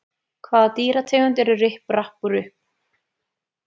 Hvaða dýrategund eru Ripp, Rapp og Rupp?